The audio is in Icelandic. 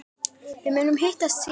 Við munum hittast síðar.